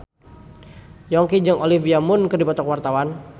Yongki jeung Olivia Munn keur dipoto ku wartawan